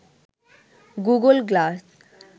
Google glass